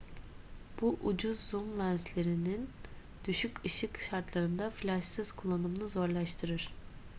bu ucuz zoom lenslerinin düşük ışık şartlarında flaşsız kullanımını zorlaştırır